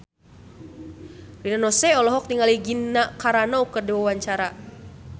Rina Nose olohok ningali Gina Carano keur diwawancara